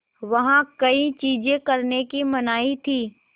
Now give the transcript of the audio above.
वहाँ कई चीज़ें करने की मनाही थी